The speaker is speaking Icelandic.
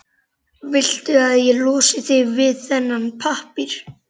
Viltu að ég losi þig við þennan pappír?